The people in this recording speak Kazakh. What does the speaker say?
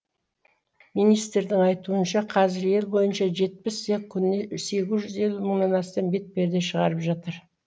министрдің айтуынша қазір ел бойынша жетпіс цех күніне сегіз жүз елу мыңнан астам бетперде шығырап жатыр